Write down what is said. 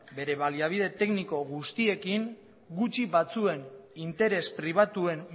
bere baliabide tekniko guztiekin gutxi batzuen interes pribatuen